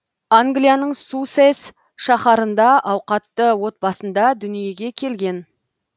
англияның суссес шаһарында ауқатты отбасында дүниеге келген